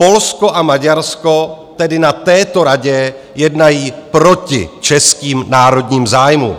Polsko a Maďarsko tedy na této Radě jednají proti českým národním zájmům.